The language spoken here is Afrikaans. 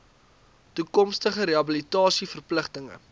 toekomstige rehabilitasie verpligtinge